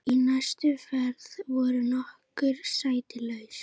Í næstu ferð voru nokkur sæti laus.